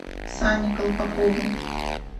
сане колпакову